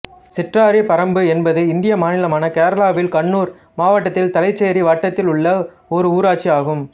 சிற்றாரிப்பறம்பு என்பது இந்திய மாநிலமான கேரளாவில் கண்ணூர் மாவட்டத்தில் தலசேரி வட்டத்தில் உள்ள ஒரு ஊராட்சி ஆகும்